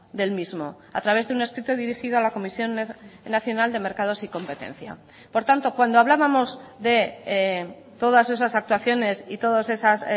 del mismo a través de un escrito dirigido a la comisión nacional de mercados y competencia por tanto cuando hablábamos de todas esas actuaciones y todas esas